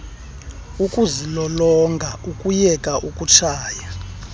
ukuzilolonga ukuyeka ukutshaya